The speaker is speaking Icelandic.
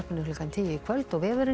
klukkan tíu í kvöld og vefurinn